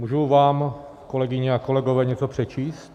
Můžu vám, kolegyně a kolegové, něco přečíst?